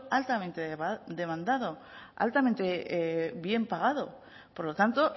altamente demandado altamente bien pagado por lo tanto